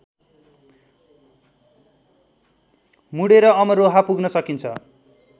मुडेर अमरोहा पुग्न सकिन्छ